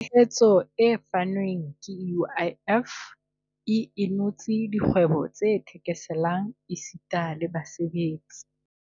Tshehetso e fanweng ke UIF e inotse dikgwebo tse thekeselang esita le basebetsi.